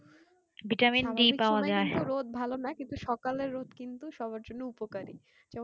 ভালো না কিন্তু সকালের রোদ কিন্তু সবার জন্যে উপকারী হ্যাঁ কোনো যে UV থাকে না আর vitamin-D ও হয়